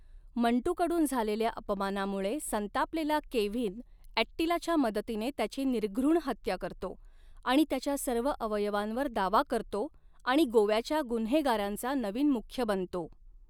मंटूकडून झालेल्या अपमानामुळे संतापलेला केव्हिन ॲट्टिलाच्या मदतीने त्याची निर्घृण हत्या करतो आणि त्याच्या सर्व अवयवांवर दावा करतो आणि गोव्याच्या गुन्हेगारांचा नवीन मुख्य बनतो.